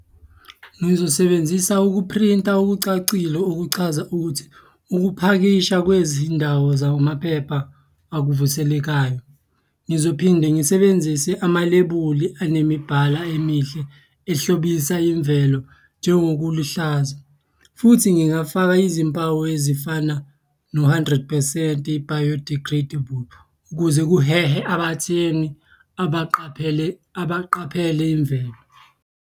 Ngizosebenzisa ukuphrinta okucacile okuchaza ukuthi ukupakisha kwezindawo zawomaphepha akuvuselekayo. Ngizophinde ngisebenzise amalebuli anemibhala emihle ehlobisa imvelo njengokuluhlaza, futhi ngingafaka izimpawu ezifana no-hundred percent, i-biodegradable ukuze kuhehe abathengi abaqaphele abaqaphele imvelo.